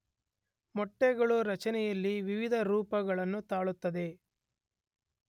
ಮೊಟ್ಟೆಗಳು ರಚನೆಯಲ್ಲಿ ವಿವಿಧ ರೂಪವನ್ನು ತಾಳುತ್ತದೆ.